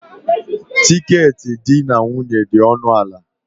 Tiketi di na nwunye dị ọnụ ala.